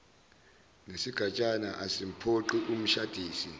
nesigatshana asimphoqi umshadisi